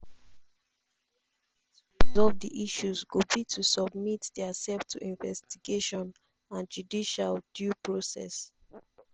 solve di issues go be to submit diasef to investigation and judicial due process”